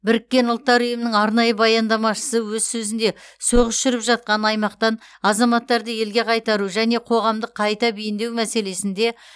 біріккен ұлттар ұйымының арнайы баяндамашысы өз сөзінде соғыс жүріп жатқан аймақтан азаматтарды елге қайтару және қоғамдық қайта бейімдеу мәселесінде